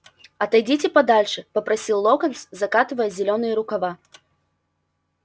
отойдите подальше попросил локонс закатывая зелёные рукава